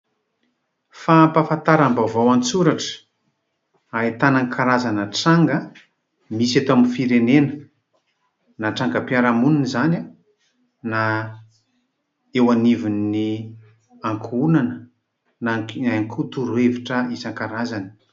Fampahafantaram-baovao an-tsoratra ahitana karazana tranga misy eto amin'ny firenena, na trangam-piarahamonina izany, na eo anivon'ny ankohonana na ihany koa torohevitra isankarazany.